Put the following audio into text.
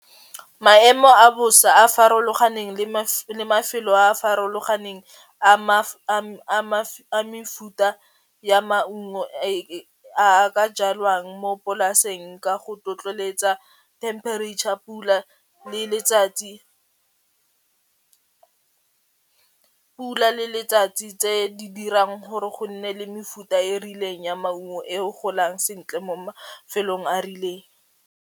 Maemo a bosa a farologaneng le mafelo a a farologaneng a mefuta ya maungo a a ka jalwang mo polaseng ka go temperature, pula le letsatsi, pula le letsatsi tse di dirang gore go nne le mefuta e e rileng ya maungo e o golang sentle mo mafelong a a rileng.